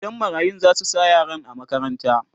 gidan marayun zasu sa yaran a makaranta